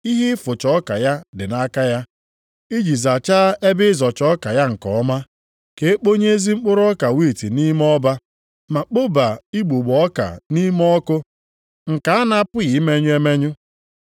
Ihe ịfụcha ọka ya dị nʼaka ya, iji zachaa ebe ịzọcha ọka ya nke ọma, ka e kponye ezi mkpụrụ ọka wiiti nʼime ọba, ma kpoba igbugbo ọka nʼime ọkụ nke a na-apụghị imenyụ emenyụ.”